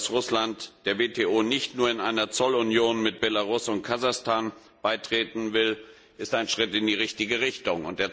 Dass Russland der WTO nicht nur in einer Zollunion mit Belarus und Kasachstan beitreten will, ist ein Schritt in die richtige Richtung.